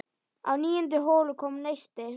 Á níundu holu kom neisti.